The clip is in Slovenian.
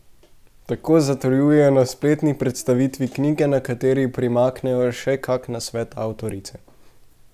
Tako zatrjujejo na spletni predstavitvi knjige, na kateri primaknejo še kak nasvet avtorice.